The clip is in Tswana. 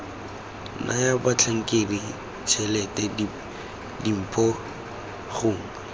naya batlhankedi tshelete dimpho gongwe